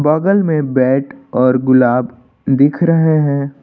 बगल में बैट और गुलाब दिख रहे हैं।